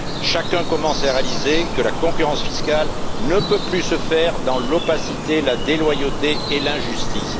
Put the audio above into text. Chacun commence à réaliser que la concurrence fiscale ne peut plus se faire dans l'opacité, la déloyauté et l'injustice.